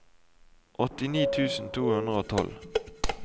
åttini tusen to hundre og tolv